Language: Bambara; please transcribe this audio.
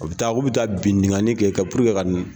U bɛ taa k'u bɛ taa bingani kɛ ka ka